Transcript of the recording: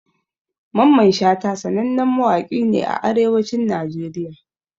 Mamman Shata sanannen mawaki ne a arewacin Najeriya